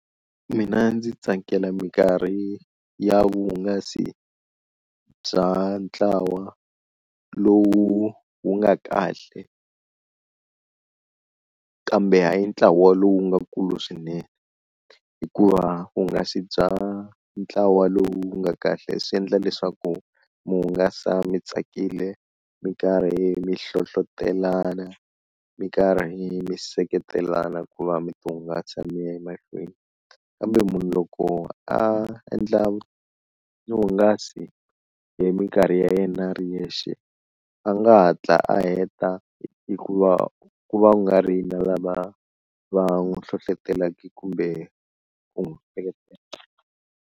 Mina ndzi tsakela minkarhi ya vuhungasi bya ntlawa lowu wu nga kahle kambe hayi ntlawa lowu nga kulu swinene hikuva vuhungasi bya ntlawa lowu nga kahle swi endla leswaku mi hungasa mi tsakile mi karhi mi hlohlotelana, mi karhi mi seketelana ku va mi ti hungasa mi ya emahlweni, kambe munhu loko a endla vuhungasi hi mikarhi ya yena a ri yexe a nga hatla a heta hikuva ku va ku nga ri na lava va n'wi hlohlotelaka kumbe ku n'wi seketela.